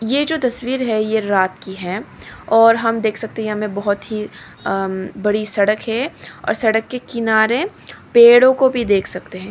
ये जो तस्वीर है ये रात की है और हम देख सकते हैं हमें बहुत ही उम्म बड़ी सड़क है और सड़क के किनारे पेड़ों को भी देख सकते हैं।